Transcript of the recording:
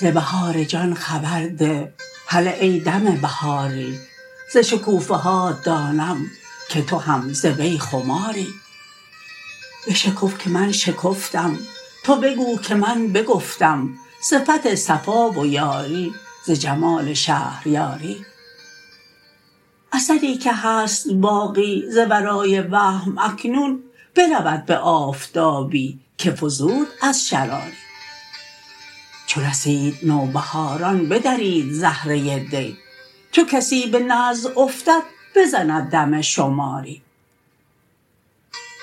ز بهار جان خبر ده هله ای دم بهاری ز شکوفه هات دانم که تو هم ز وی خماری بشکف که من شکفتم تو بگو که من بگفتم صفت صفا و یاری ز جمال شهریاری اثری که هست باقی ز ورای وهم اکنون برود به آفتابی که فزود از شراری چو رسید نوبهاران بدرید زهره دی چو کسی به نزع افتد بزند دم شماری